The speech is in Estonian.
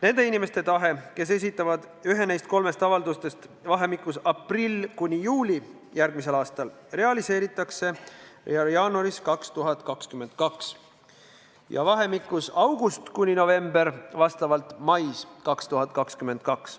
Nende inimeste soov, kes esitavad ühe neist kolmest avaldusest vahemikus aprill kuni juuli järgmisel aastal, täidetakse jaanuaris 2022, kui avaldus esitatakse vahemikus august kuni november, siis täidetakse see mais 2022.